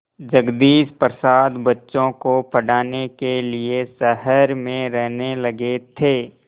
जगदीश प्रसाद बच्चों को पढ़ाने के लिए शहर में रहने लगे थे